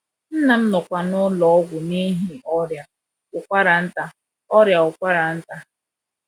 Nna m nọkwa n’ụlọ ọgwụ n’ihi ọrịa ụkwara nta ọrịa ụkwara nta.